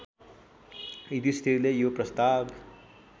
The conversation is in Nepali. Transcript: युधिष्ठिरले यो प्रस्ताव